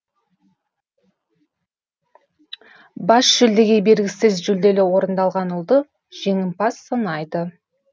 бас жүлдеге бергісіз жүлделі орынды алған ұлды жеңімпаз санайды